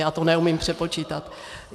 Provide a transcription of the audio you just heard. Já to neumím přepočítat.